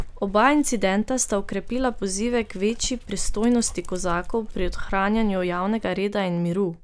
Oba incidenta sta okrepila pozive k večji pristojnosti kozakov pri ohranjanju javnega reda in miru.